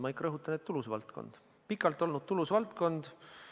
Ma ikka rõhutan, et see on tulus valdkond, pikalt tulus olnud valdkond.